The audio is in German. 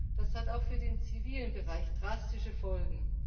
Das hat auch für den zivilen Bereich drastische Folgen.